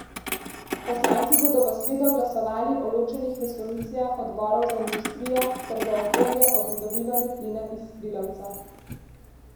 Poslanci bodo v sredo glasovali o ločenih resolucijah odborov za industrijo ter za okolje o pridobivanju plina iz skrilavca.